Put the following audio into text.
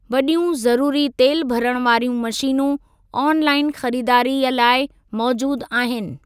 वॾियूं ज़रूरी तेलु भरणु वारियूं मशीनूं आन लाइन ख़रीदारीअ लाइ मौज़ूदु आहिनि।